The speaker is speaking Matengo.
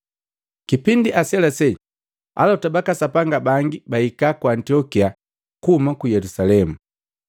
Kipindi aselasela, Alota baka Sapanga bangi bahika ku Antiokia kuhuma ku Yelusalemu.